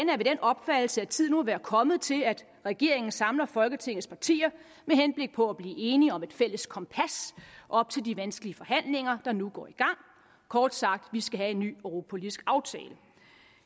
af den opfattelse at tiden må være kommet til at regeringen samler folketingets partier med henblik på at blive enige om et fælles kompas op til de vanskelige forhandlinger der nu går i gang kort sagt vi skal have en ny europapolitisk aftale